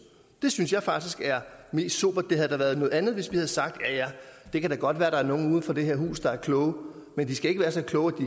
det synes jeg faktisk er mest sobert det havde da været noget andet hvis vi havde sagt ja ja det kan da godt være der er nogen uden for det her hus der er kloge men de skal ikke være så kloge